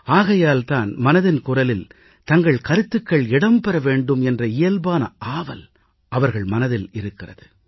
ஆகையால் தான் மனதின் குரலில் தங்கள் கருத்துக்கள் இடம்பெற வேண்டும் என்ற இயல்பான ஆவல் அவர்கள் மனதில் இருக்கிறது